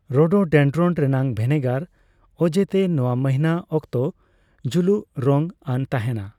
Rhododendron ᱨᱮᱱᱟᱜ ᱵᱷᱮᱱᱮᱜᱟᱨ ᱚᱡᱮ ᱛᱮ ᱱᱚᱣᱟ ᱢᱟᱦᱤᱱᱟ ᱚᱠᱛᱚ ᱡᱩᱞᱩᱠ ᱨᱚᱝ ᱟᱱ ᱛᱟᱦᱮᱸᱱᱟ ᱾